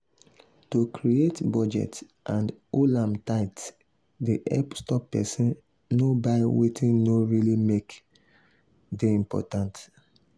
to create budget and hold am tight dey help stop person nor buy wetin no really make dey important.